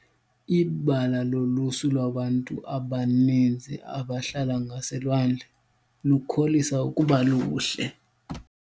Ibala lolusu lwabantu abaninzi abahlala ngaselwandle lukholisa ukuba luhle.